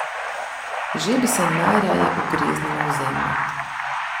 Že bi se najraje ugreznila v zemljo.